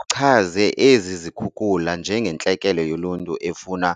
Uchaze ezi zikhukula njengentlekele yoluntu efuna